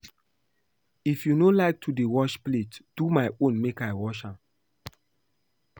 If you no like to wash plate do my own make I wash am